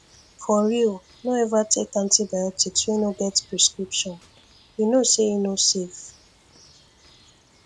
for real no ever take antibiotics wey no get prescription you know say e no safe